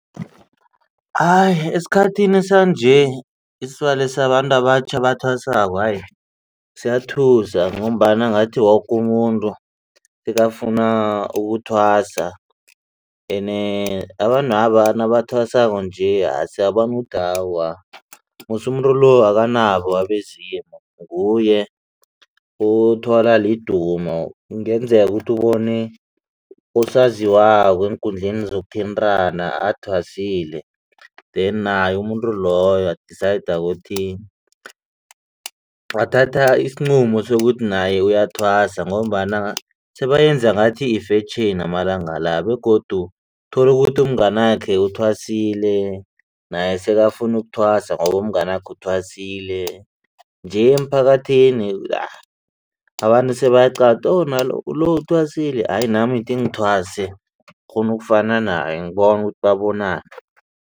Hayi esikhathini sanje isibalo sabantu abatjha abathwasako hayi siyathusa ngombana ngathi woke umuntu sekafuna ukuthwasa. Abantwaba nabathwasako nje siyabona ukuthi awa musi umuntu lo akanabo abezimu nguye uthwala lidumo kungenzeka ukuthi ubone usaziwako eenkundleni zokuthintana athwasile then naye umuntu loyo wa-decide ukuthi wathatha isinqumo sokuthi naye uyathwasa ngombana sebayenza ngathi yifetjheni amalanga la begodu tholukuthi umnganakho uthwasile naye sekafuna ukuthwasa ngoba umnganakho uthwasile nje emphakathini abantu sebayaqala lo nalo uthwasile hayi nami thi ngithwase ngikghona ukufana naye ngibona ukuthi babonani.